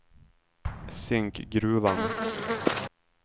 Zinkgruvan